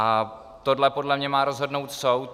A tohle podle mě má rozhodnout soud.